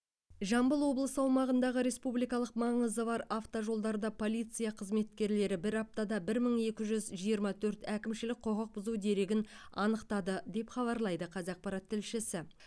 жамбыл облысы аумағындағы республикалық маңызы бар автожолдарда полиция қызметкерлері бір аптада бір мың екі жүз жиырма төрт әкімшілік құқық бұзу дерегін анықтады деп хабарлайды қазақпарат тілшісі